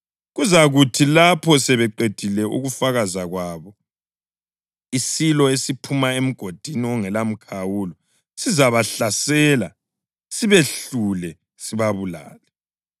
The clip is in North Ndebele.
Kuzakuthi lapho sebeqedile ukufakaza kwabo isilo esiphuma eMgodini ongelamkhawulo sizabahlasela sibehlule sibabulale.